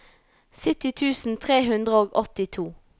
sytti tusen tre hundre og åttito